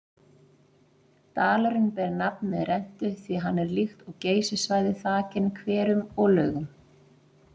Dalurinn ber nafn með rentu því hann er líkt og Geysissvæðið þakinn hverum og laugum.